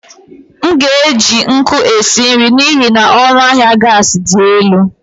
M ga-eji nkụ esi nri n'ihi na ọnụ ahịa gas dị elu.